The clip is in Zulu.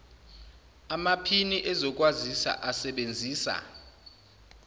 amaphini ezokwazisa asebenzisa